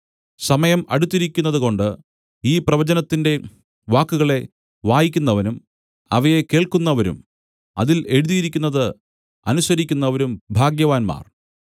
സമയം അടുത്തിരിക്കുന്നതുകൊണ്ട് ഈ പ്രവചനത്തിന്റെ വാക്കുകളെ വായിക്കുന്നവനും അവയെ കേൾക്കുന്നവരും അതിൽ എഴുതിയിരിക്കുന്നത് അനുസരിക്കുന്നവരും ഭാഗ്യവാന്മാർ